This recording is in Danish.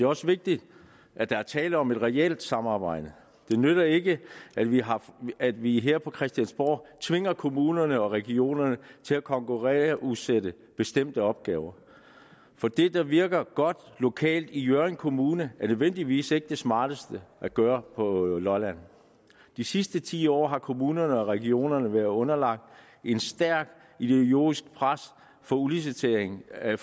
også vigtigt at der er tale om et reelt samarbejde det nytter ikke at vi at vi her på christiansborg tvinger kommunerne og regionerne til at konkurrenceudsætte bestemte opgaver for det der virker godt lokalt i hjørring kommune er nødvendigvis ikke det smarteste at gøre på lolland de sidste ti år har kommunerne og regionerne og været underlagt et stærkt ideologisk pres for udlicitering af